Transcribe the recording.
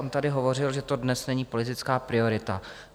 On tady hovořil, že to dnes není politická priorita.